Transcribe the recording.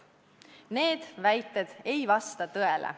Need väited ei vasta tõele.